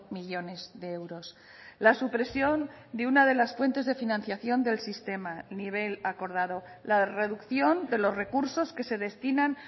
millónes de euros la supresión de una de las fuentes de financiación del sistema nivel acordado la reducción de los recursos que se destinan